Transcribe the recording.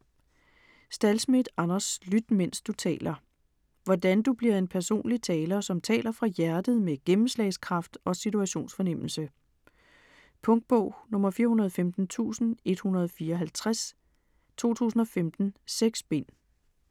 Stahlschmidt, Anders: Lyt mens du taler Hvordan du bliver en personlig taler, som taler fra hjertet med gennemslagskraft og situationsfornemmelse. Punktbog 415154 2015. 6 bind.